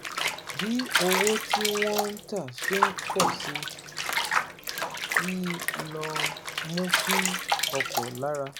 Bí owó tí wọ́n ń tà ṣe ń pọ̀ sí i ló mú kí ọ̀pọ̀ lára